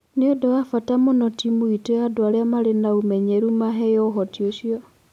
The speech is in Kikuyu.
Nĩ ũndũ wa bata mũno timũ itũ ya andũ arĩa marĩ na ũmenyeru maheo ũhoti ũcio